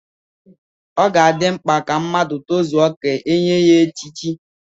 Ọ ga-adị mkpa ka mmadụ tozuo ka e nye ya echichi.